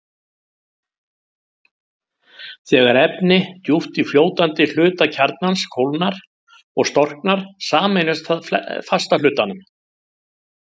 Þegar efni djúpt í fljótandi hluta kjarnans kólnar og storknar, sameinast það fasta hlutanum.